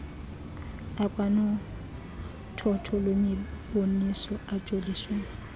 akwanothotho lwemiboniso ajoliswe